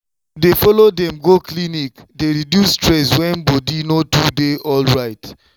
to dey follow dem go clinic dey reduce stress when body no too dey alright.